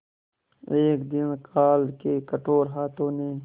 एक दिन काल के कठोर हाथों ने